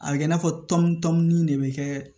A bɛ kɛ i n'a fɔ tɔmɔnin de bɛ kɛ